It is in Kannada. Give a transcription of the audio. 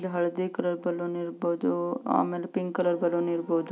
ಅಲ್ಲಿ ಹಳದಿ ಕಲರ್ ಬೆಲೂನ್ ಇರಬಹುದು ಆಮೇಲೆ ಪಿಂಕ್ ಕಲರ್ ಬೆಲೂನ್ ಇರಬಹುದು.